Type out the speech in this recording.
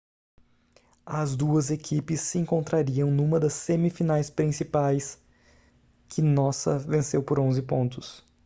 as duas equipes se encontrariam numa das semifinais principais que nossa venceu por 11 pontos